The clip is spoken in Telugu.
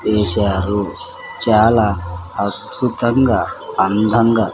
గీశారు చాలా అర్భుతంగా అందంగా--